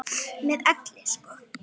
Með elli sko.